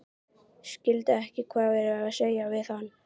Skildi ekki hvað var verið að segja við hann.